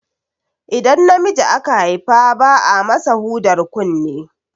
Idan namiji aka Haifa ba a masa hudar kunne